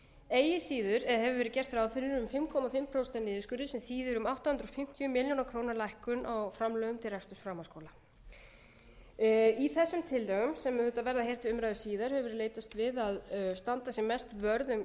eigi að siður hefur verið gert ráð fyrir um fimm og hálft prósent niðurskurði sem þýðir um átta hundruð fimmtíu milljónir króna lækkun á framlögum til reksturs framhaldsskóla í þessum tillögum sem auðvitað verða hér til umræðu síðar hefur verið leitast við að standa sem mest vörð um